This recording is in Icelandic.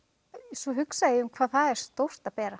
svo hugsaði ég um hvað það er stórt að bera